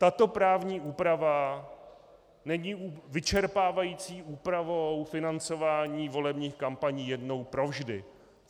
Tato právní úprava není vyčerpávající úpravou financování volebních kampaní jednou provždy.